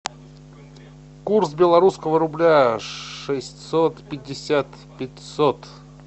курс белорусского рубля шестьсот пятьдесят пятьсот